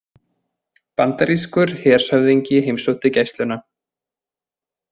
Bandarískur hershöfðingi heimsótti Gæsluna